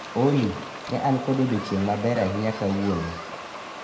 Olly, ne an kod odieng' maber ahinya kawuono